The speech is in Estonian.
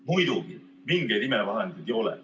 Muidugi mingeid imevahendeid ei ole.